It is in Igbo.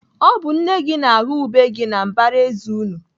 Ọ bụ nne gị na-aghọ ube gị na mbaraezi unu.